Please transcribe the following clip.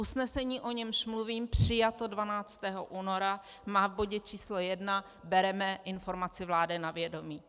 Usnesení, o němž mluvím, přijato 12. února, má v bodě č. 1: "Bereme informaci vlády na vědomí."